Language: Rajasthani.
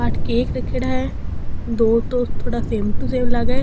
आठ केक रखेड़ा है दो तो थोड़ा सेम टू सेम लागे।